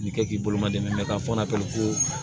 K'i kɛ k'i bolo ma dɛmɛ ka fɔnɔ ko